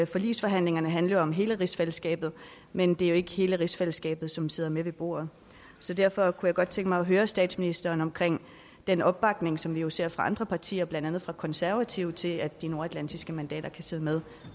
forligsforhandlingerne handler om hele rigsfællesskabet men det er jo ikke hele rigsfællesskabet som sidder med ved bordet så derfor kunne jeg godt tænke mig at høre statsministeren om den opbakning som vi jo ser fra andre partier blandt andet konservative til at de nordatlantiske medlemmer kan sidde med